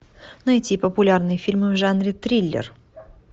найти популярные фильмы в жанре триллер